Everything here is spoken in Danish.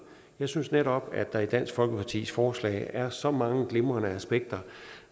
jeg synes netop at der i dansk folkepartis forslag er så mange glimrende aspekter